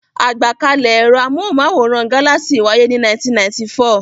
Àgbákalẹ̀ ẹ̀rọ amóhùmáwòhán Galaxy wáyé ní 1994.